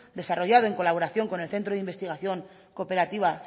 desarrollado en colaboración con el centro de investigación cooperativa